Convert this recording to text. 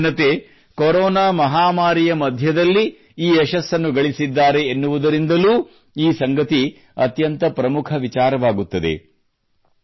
ನಮ್ಮ ಯುವಜನತೆ ಕೊರೋನಾ ಮಹಾಮಾರಿಯ ಮಧ್ಯದಲ್ಲಿ ಈ ಯಶಸ್ಸನ್ನು ಗಳಿಸಿದ್ದಾರೆ ಎನ್ನುವುದರಿಂದಲೂ ಈ ಸಂಗತಿ ಅತ್ಯಂತ ಪ್ರಮುಖ ವಿಚಾರವಾಗುತ್ತದೆ